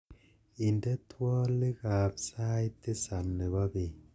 inde twolik ab sait tisab nebo bet